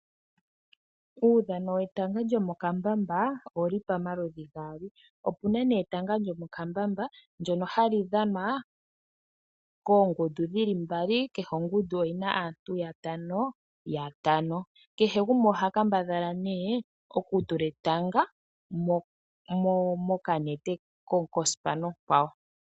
Uudhano we tanga lyo mo kambamba, owuli pamaludhi gaali. Opuna nee etanga lyo mo kambamba lyono hali dhanwa koongundu mbali, kehe ongundu oyina aantu yeli ya tanga. kehe gumwe oha kambadhala nee oku tula etanga, mo kanete kospana okwawo.